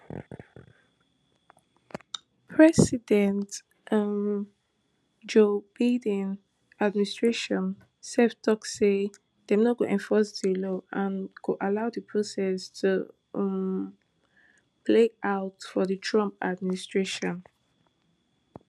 president um joe biden administration sef tok say dem no go enforce di law and go allow di process to um play out for di trump administration